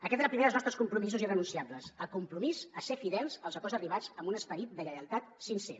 aquest és el primer dels nostres compromisos irrenunciables el compromís a ser fidels als acords arribats amb un esperit de lleialtat sincer